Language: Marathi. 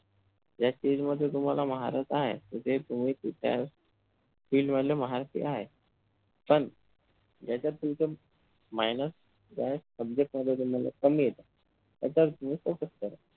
ज्या stage तुम्हाला महारथ म्हणजे तुम्ही त्या field मधले महारथी आहे पण यांच्यात तुमचं minus point subject मध्ये कमी आहे त्याच्यावर तुम्ही focus करू शकता.